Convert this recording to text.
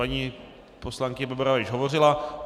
Paní poslankyně Bebarová již hovořila.